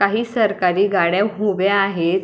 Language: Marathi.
काही सरकारी गाड्या उभ्या आहेत.